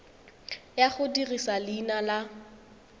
ya go dirisa leina la